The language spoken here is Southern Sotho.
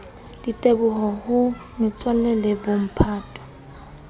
diteboho ho metswalle le bomphato